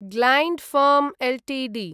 gland firm Ltd